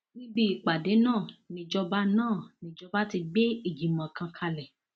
níbi ìpàdé náà nìjọba náà nìjọba ti gbé ìgbìmọ kan kalẹ